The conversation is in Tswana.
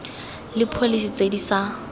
le pholese tse di sa